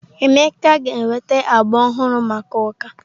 Emeka ga-enweta agba ọhụrụ maka ụka.